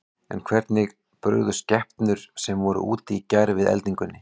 En hvernig brugðust skepnur sem voru úti í gær við eldingunni?